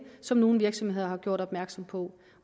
som nogle virksomheder har gjort opmærksom på